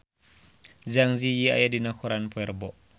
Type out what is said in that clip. Zang Zi Yi aya dina koran poe Rebo